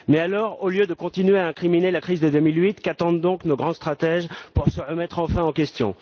Mais alors, au lieu de continuer à incriminer la crise de 2008, qu'attendent nos grands stratèges pour se remettre enfin en question?